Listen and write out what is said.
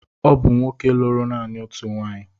Ọ bụ nwoke lụrụ naanị otu nwaanyị.